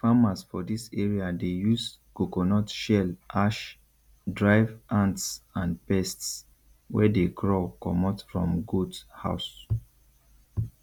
farmers for this area dey use coconut shell ash drive ants and pests wey dey crawl comot from goat house